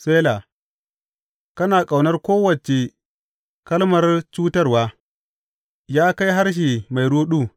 Sela Kana ƙaunar kowace kalmar cutarwa, Ya kai harshe mai ruɗu!